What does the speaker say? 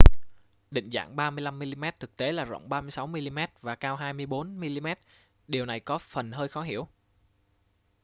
định dạng 35 mm thực tế là rộng 36 mm và cao 24 mm điều này có phần hơi khó hiểu